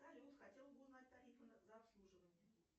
салют хотела бы узнать тарифы за обслуживание